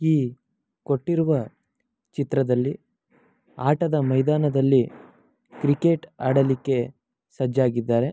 ಈ ಕೊಟ್ಟಿರುವ ಚಿತ್ರದಲ್ಲಿ ಆಟದ ಮೈದಾನದಲ್ಲಿ ಕ್ರಿಕೆಟ್ ಆಡಲಿಕ್ಕೆ ಸಜ್ಜಾಗಿದ್ದಾರೆ.